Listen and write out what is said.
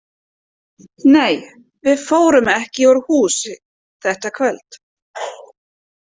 Nei, við fórum ekki úr húsi þetta kvöld.